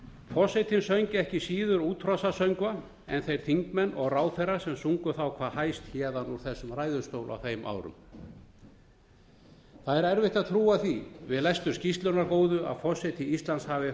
forsetinn söng ekki síður útrásarsöngva en þeir þingmenn og ráðherrar sem sungu hvað hæst héðan úr þessum ræðustól á þeim árum það er erfitt að trúa því við lestur skýrslunnar góðu að forseti íslands hafi